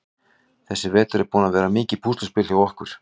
Þessi vetur er búinn að vera mikið púsluspil hjá okkur.